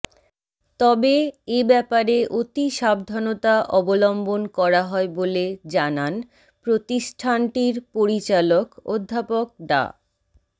তবে এ ব্যাপারে অতি সাবধানতা অবলম্বন করা হয় বলে জানান প্রতিষ্ঠানটির পরিচালক অধ্যাপক ডা